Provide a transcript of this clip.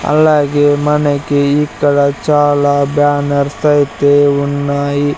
అలాగే మనకి ఇక్కడ చాలా బ్యానర్స్ అయితే ఉన్నాయి.